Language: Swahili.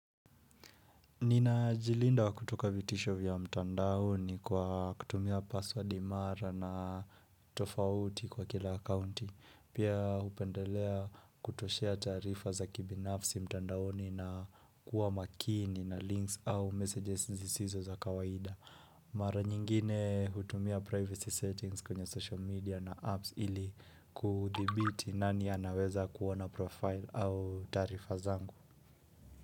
Nina jilinda wa kutoka vitisho vya mtandaoni kwa kutumia password imara na tofauti kwa kila akaunti. Pia hupendelea kutoshea taarifa za kibinafsi mtandaoni na kuwa makini na links au messages zisizo za kawaida. Mara nyingine hutumia privacy settings kwenye social media na apps ili kuthibiti nani anaweza kuona profile au taarifa zangu.